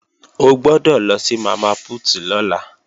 O gbọ́dọ̀ lọ sí Mama Put lọ́la